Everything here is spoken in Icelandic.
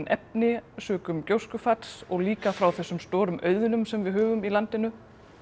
efni sökum og líka frá þessum stóru auðnum sem við höfum í landinu